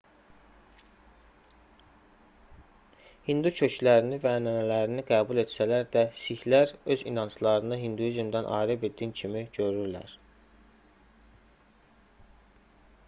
hindu köklərini və ənənələrini qəbul etsələr də sihlər öz inanclarını hinduizmdən ayrı bir din kimi görürlər